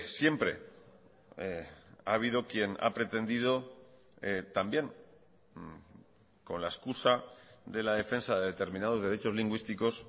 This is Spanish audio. siempre ha habido quien ha pretendido también con la excusa de la defensa de determinados derechos lingüísticos